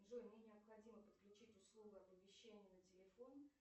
джой мне необходимо подключить услугу оповещения на телефон